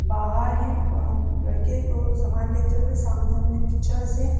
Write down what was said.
बाहर है अ लड़के को सामान लेते हुए सामने हमने पिचर से--